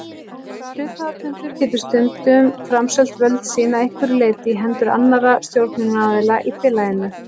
Hluthafafundur getur stundum framselt völd sín að einhverju leyti í hendur annarra stjórnunaraðila í félaginu.